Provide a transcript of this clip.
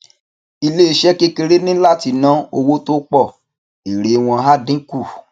iléeṣé kékeré ní láti ná owó tó pọ èrè wọn á dín kù